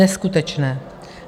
Neskutečné.